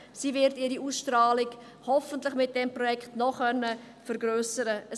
Sie wird ihre Ausstrahlung mit diesem Projekt hoffentlich noch vergrössern können.